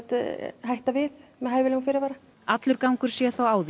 hætta við með hæfilegum fyrirvara allur gangur sé þó á því